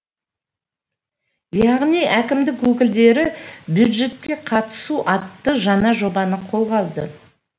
яғни әкімдік өкілдері бюджетке қатысу атты жаңа жобаны қолға алды